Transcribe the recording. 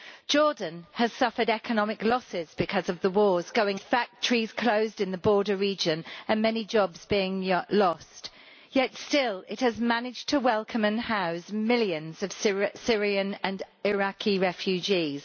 Jordan has suffered economic losses because of the wars going on around it, with factories closed in the border region and many jobs being lost, yet still it has managed to welcome and house millions of Syrian and Iraqi refugees.